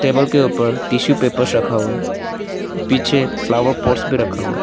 Table के ऊपर tissue papers रखा हुआ है पीछे फ्लावर पॉट्स भी रखा हुआ है।